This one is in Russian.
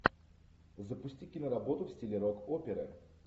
запусти киноработу в стиле рок оперы